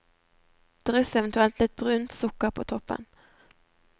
Dryss eventuelt litt brunt sukker på toppen.